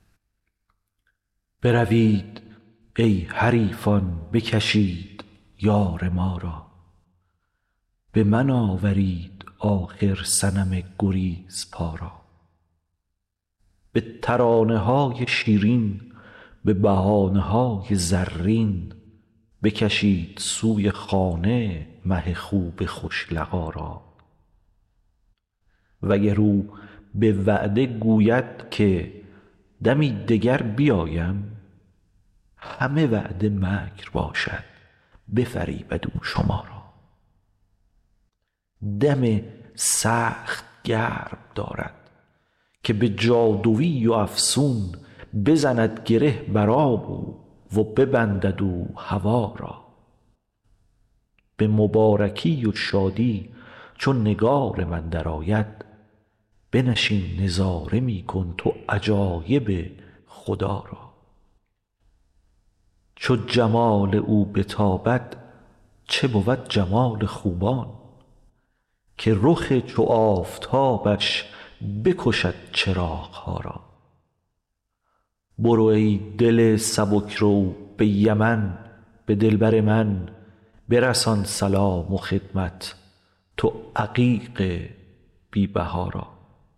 بروید ای حریفان بکشید یار ما را به من آورید آخر صنم گریزپا را به ترانه های شیرین به بهانه های زرین بکشید سوی خانه مه خوب خوش لقا را وگر او به وعده گوید که دمی دگر بیایم همه وعده مکر باشد بفریبد او شما را دم سخت گرم دارد که به جادوی و افسون بزند گره بر آب او و ببندد او هوا را به مبارکی و شادی چو نگار من درآید بنشین نظاره می کن تو عجایب خدا را چو جمال او بتابد چه بود جمال خوبان که رخ چو آفتابش بکشد چراغ ها را برو ای دل سبک رو به یمن به دلبر من برسان سلام و خدمت تو عقیق بی بها را